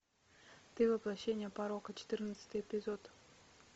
ты воплощение порока четырнадцатый эпизод